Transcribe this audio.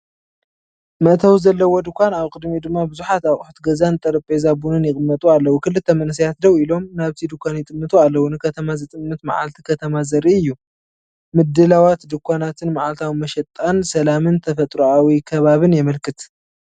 መእተዊ ዘለዎ ድኳን ኣብ ቅድሚኡ ድማ ብዙሓት ኣቑሑት ገዛን ጠረጴዛ ቡንን ይቕመጡ ኣለዉ። ክልተ መንእሰያት ደው ኢሎም ናብቲ ድኳን ይጥምቱ ኣለዉ፡ ንከተማ ዝጥምት መዓልቲ ከተማ ዘርኢ እዩ። ምድላዋት ድኳናትን መዓልታዊ መሸጣን፡ ሰላምን ተፈጥሮኣዊ ከባቢን የመልክት